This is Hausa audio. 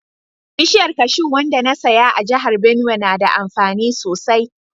Bishiyar kashu wanda na saya a jihar Benue na da amfani sosai